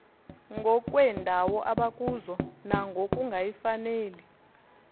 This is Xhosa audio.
ngokweendawo abakuzo nangokungayifaneli